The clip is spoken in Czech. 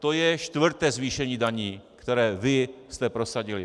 To je čtvrté zvýšení daní, které vy jste prosadili.